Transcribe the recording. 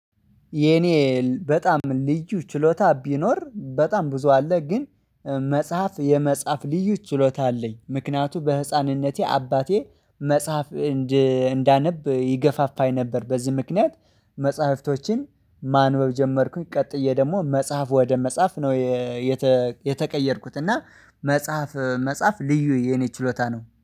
የኔ በጣም ልዩ ችሎታ ቢኖር በጣም ብዙ አለ። ግን መጽሐፍ የመጽሐፍ ልዩ ችሎታ አለኝ ምክንያቱም በህፃንነቴ አባቴ መጽሐፍ እንዳነብ ይገፋፋኝ ነበር። በዚህ ምክንያት መጽሐፍቶችን ማንበብ ጀመርኩኝ ቀጥዬ ደግሞ መጽሐፍ ወደ መጻፍ ነው። የተቀየርኩት እና መጽሐፍ መጽሐፍ ልዩ የኔ ችሎታ ነው